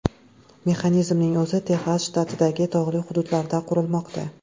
Mexanizmning o‘zi Texas shtatidagi tog‘li hududda qurilmoqda.